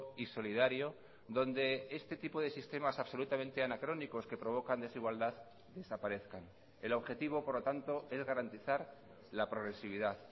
y solidario donde este tipo de sistemas absolutamente anacrónicos que provocan desigualdad desaparezcan el objetivo por lo tanto es garantizar la progresividad